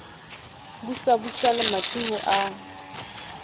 busa busa lemati ho a